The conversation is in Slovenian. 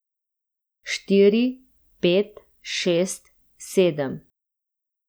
Štiri, pet, šest, sedem.